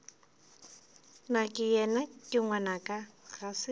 nakeyena ke ngwanaka ga se